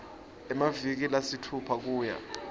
emaviki lasitfupha kuya